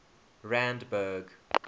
randburg